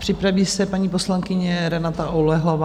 Připraví se paní poslankyně Renata Oulehlová.